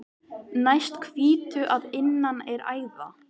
Næst hvítu að innan er æða.